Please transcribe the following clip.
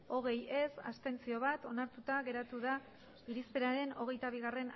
hogei ez bat abstentzio onartuta geratu da irizpenaren hogeita bigarrena